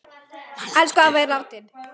Elsku afi er látinn.